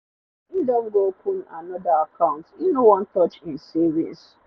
he don go open another account e no wan touch e savings